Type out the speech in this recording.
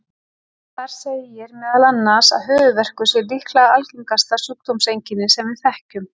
Þar segir meðal annars að höfuðverkur sé líklega algengasta sjúkdómseinkenni sem við þekkjum.